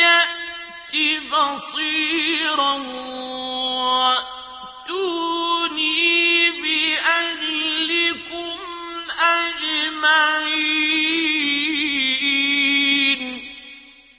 يَأْتِ بَصِيرًا وَأْتُونِي بِأَهْلِكُمْ أَجْمَعِينَ